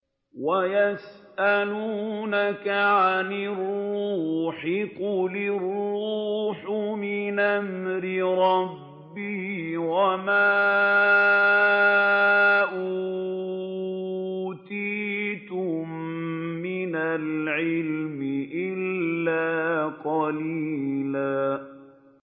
وَيَسْأَلُونَكَ عَنِ الرُّوحِ ۖ قُلِ الرُّوحُ مِنْ أَمْرِ رَبِّي وَمَا أُوتِيتُم مِّنَ الْعِلْمِ إِلَّا قَلِيلًا